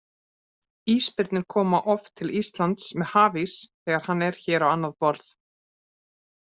Ísbirnir koma oft til Íslands með hafís þegar hann er hér á annað borð.